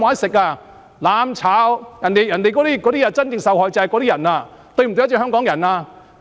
說"攬炒"，真正受害的卻是這些市民，這是否對得起香港人？